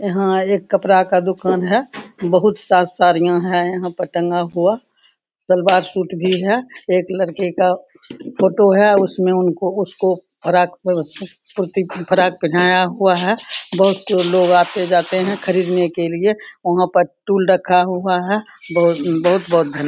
यहाँ एक कपड़ा का दुकान है बहुत सारा साड़ियां है यहां पे टंगा हुआ सलवार सूट भी है एक लड़के का फोटो है उसमे उनको उसको रातभर पुतले को फ्राक पहनाया हुआ है बहुत लोग आते जाते है खरीदने के लिए या वहां पर स्टूल रखा हुआ है बहुत बहुत धन्यवाद।